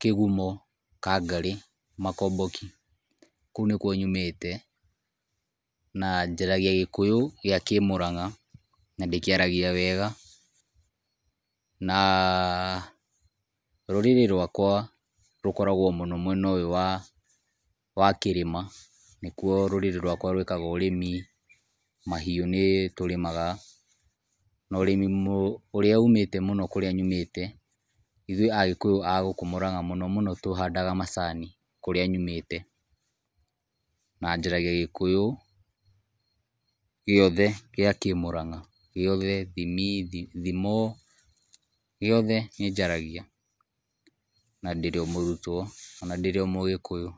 kĩgũmo-Kangarĩ-Makomboki, kũo nĩkũo nyũmĩte. Nanjaragia gĩkũyũ gĩa kĩmũrang'a na ndĩkĩaragia wega na rũrĩrĩ rwakwa rũkoragũo mwena ũyũ wa kĩrĩma, nĩkũo rũrĩrĩ rwakwa rũĩkaga ũrĩmi, mahiũ nĩ tũrimaga na urĩmi ũrĩa ũmĩte mũno kũrĩa nyũmĩte, ithũĩ agĩkũyũ agũkũ Mũrang'a mũno mũno tũhanda macani, kũrĩa nyũmĩte na njaragia gĩkũyũ gĩothe gĩa kĩmũrang'a-gĩothe thimi, thimo gĩothe nĩnjaragia na ndĩrĩo mũrutwo ona ndĩrĩo mũgĩkũyũ.